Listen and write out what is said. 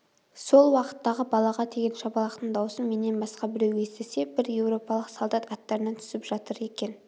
сол уақыттағы балаға тиген шапалақтың даусын менен басқа біреу естісе бір еуропалық солдат аттарынан түсіп жатыр екен